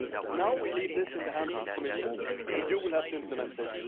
Now we leave this in the hands of the Commission, and you will have to implement this.